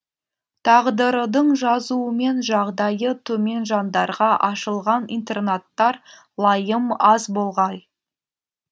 тағдырдың жазуымен жағдайы төмен жандарға ашылған интернаттар лайым аз болғай